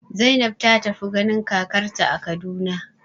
Zainab ta tafi ganin kakarta a Kaduna.